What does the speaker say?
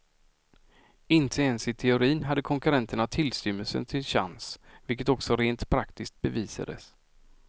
Inte ens i teorin hade konkurrenterna tillstymmelsen till chans, vilket också rent praktiskt bevisades.